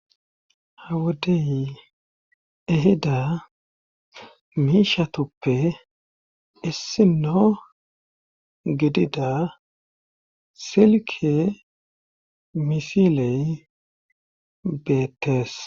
Hawodey ehida miishatuppe issino gidida silke misiley beettes.